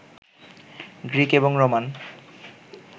Greek এবং Roman